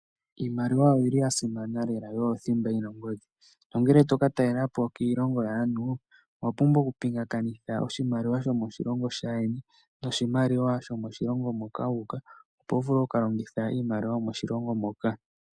Iimaliwa oyili ya simana lela, o oyo thimba yina oongodhi. Nongele toka talelapo kiilongo yaantu, owa pumbwa oku pingakanitha oshimaliwa shomoshilongo shaandjeni noshimaliwa shomoshilongo moka wa uka, opo wu vule oku ka longitha iimaliwa yomoshilongo moka.